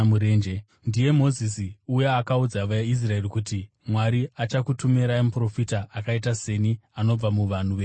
“Ndiye Mozisi uya akaudza vaIsraeri kuti, ‘Mwari achakutumirai muprofita akaita seni anobva muvanhu venyu chaivo.’